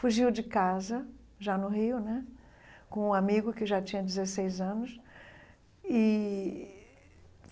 Fugiu de casa, já no Rio né, com um amigo que já tinha dezesseis anos e.